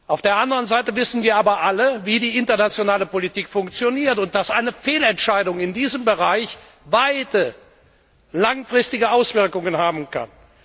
Auf der anderen Seite wissen wir aber alle, wie die internationale Politik funktioniert und dass eine Fehlentscheidung in diesem Bereich weite und langfristige Auswirkungen haben kann.